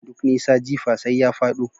Duk nisa. Jifa sai ya fado